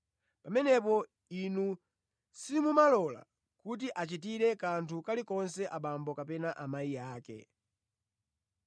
pamenepo inu simumalola kuti achitire kanthu kalikonse abambo kapena amayi ake.